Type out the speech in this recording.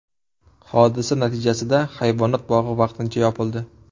Hodisa natijasida hayvonot bog‘i vaqtincha yopildi.